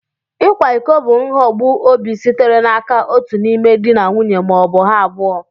Ịkwa iko bụ nhogbu obi sitere n'aka otu n'ime di na nwunye ma ọ bụ ha abụọ.